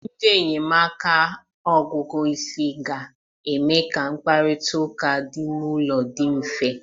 Ndị enyemaka ogugu isi ga-eme ka mkparịta ụka dị n'ụlọ dị mfe.